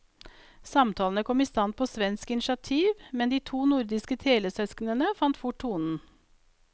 Samtalene kom i stand på svensk initiativ, men de to nordiske telesøsknene fant fort tonen.